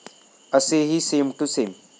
असेही 'same to same'